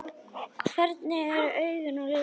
Hvernig eru augun á litinn?